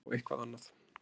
Eða þá eitthvað annað.